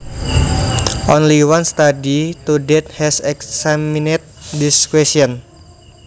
Only one study to date has examined this question